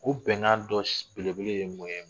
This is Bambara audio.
Ko bɛnkan dɔ belebele ye mun ye